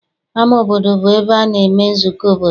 Ama obodo bụ ebe a na-eme nzukọ obodo.